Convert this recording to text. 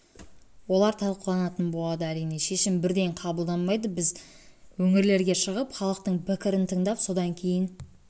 олар талқыланатын болады әрине шешім бірден қабылданбайды біз өңірлерге шығып халықтың пікірін тыңдап содан кейін